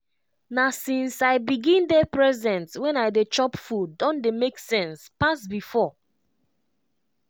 as i dey aware even ordinary water wey touch my hand dey give me better joy.